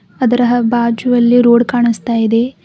ಅದರ ಬಾಜುಅಲ್ಲಿ ರೋಡ್ ಕಾಣಿಸ್ತಾ ಇದೆ.